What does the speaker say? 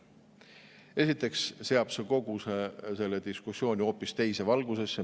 Esiteks seab see kogu selle diskussiooni hoopis teise valgusesse.